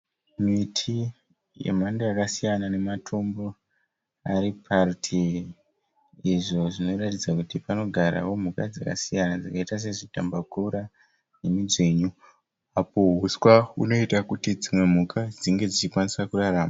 Miti yemhando yakasiyana nematombo ari parutivi izvo zvinoratidza kuti panogarawo mhuka dzakasiyana dzakaita sezvidhambakura nemadzvinyu. Apo huswa hunoita kuti mhuka dzinge dzichikwanisa kurarama.